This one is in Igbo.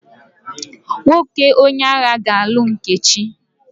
Nwoke onye agha ga-alụ Nkechi.